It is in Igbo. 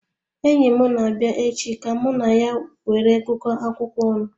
Enyim na-abia echi ka ka mụ na ya were gu ko akwụkwọ ọnụ